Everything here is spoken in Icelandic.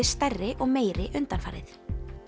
stærri og meiri undanfarið